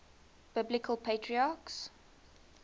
biblical patriarchs